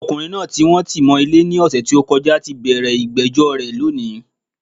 Ọmọkùnrin naa tí wọ́n ti mọ̀ Ilé ní òsè t'ó kọjá tí bẹ̀rẹ̀ ìgbéjó rè lónìí